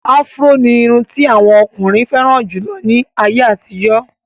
Áfúró ní irun ti àwọn ọkùnrin fẹ́ràn jù lọ ní àyè àtijọ́.